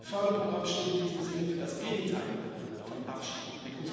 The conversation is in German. Das Interreg Förderprogramm steht in diesem Sinne für das Gegenteil von Abschottung.